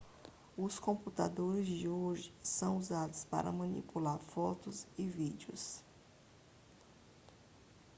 os computadores de hoje são usados para manipular fotos e vídeos